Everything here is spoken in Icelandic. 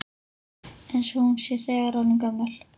Eins og hún sé þegar orðin gömul.